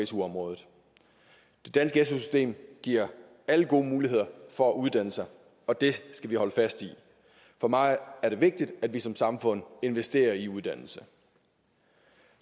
su området det danske su system giver alle gode muligheder for at uddanne sig og det skal vi holde fast i for mig er det vigtigt at vi som samfund investerer i uddannelse